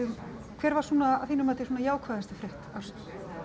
hver var svona að þínu mati jákvæðasta frétt ársins